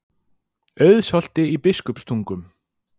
Auðsholti í Biskupstungum.